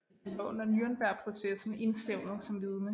Han var under Nürnbergprocessen indstævnet som vidne